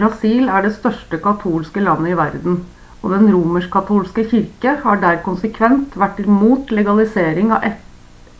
brasil er det største katolske landet i verden og den romersk-katolske kirken har der konsekvent vært imot legalisering av